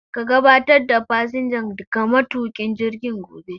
Ka gabatar da fasinjan ga matuƙin jirgin gobe.